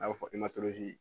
A bɛ fɔ